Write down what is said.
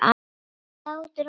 Hlátur og gleði.